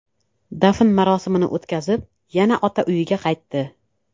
Dafn marosimini o‘tkazib, yana ota uyiga qaytdi.